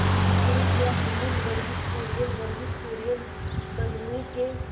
शुरू किया अमूल वर्गीज कुरियन वर्गीज कुरियन बंगलूरू के